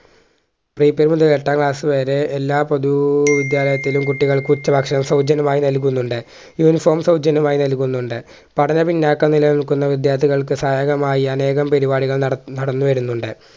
pre primary മുതൽ എട്ടാം class വരെ എല്ലാ പൊതു വിദ്യാലയത്തിലും കുട്ടികൾക്ക് ഉച്ചഭക്ഷണം സൗജന്യമായി നൽകുന്നുണ്ട് uniform സൗജന്യമായി നൽകുന്നുണ്ട് പഠന പിന്നോക്കങ്ങളിൽ നിക്കുന്ന വിദ്യാർത്ഥികൾക്ക് സഹായകമായി അനേകം പരിപാടികൾ നട നടന്നുവരുന്നുണ്ട്